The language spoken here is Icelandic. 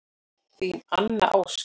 Þín Anna Ósk.